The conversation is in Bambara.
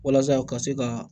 Walasa ka se ka